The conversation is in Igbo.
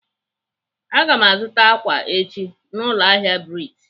Aga m azụta ákwà echi na ụlọahịa Brite.